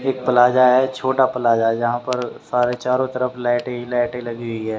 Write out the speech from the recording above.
एक प्लाजा है छोटा प्लाजा जहां पर सारे चारों तरफ लाइट ही लाइट लगी हुई है।